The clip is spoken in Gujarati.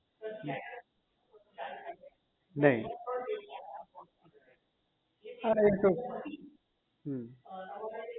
નહીં અને એતો